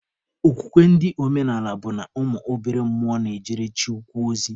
Okwukwe ndị omenaala bụ na ụmụ obere mmụọ na-ejere Chi ukwu ozi.